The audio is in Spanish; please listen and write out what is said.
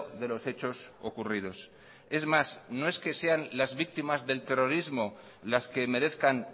de los hechos ocurridos es más no es que sean las víctimas del terrorismo las que merezcan